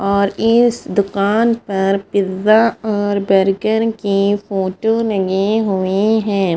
और इस दूकान पर पिज़ा और बर्गर कि फोटो लगी हुई है।